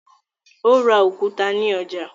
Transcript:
Ó ra òkúta ní ọjà.